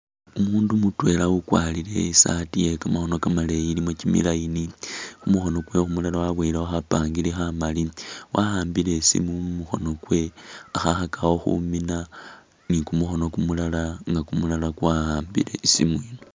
Umundu mutwela ukwarile isaati yekamakhono maleyi ilimo kyimi line kumukhono kwe kumulala wabowelekho khapangiri khamali wahambile isimu mumukono kwe akhakakho khumina ni kumukhono kumulala nga kwahambile isimu ino.